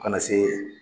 Ka na se